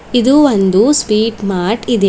ಇದು ಒಂದು sweet mart ಇದೆ.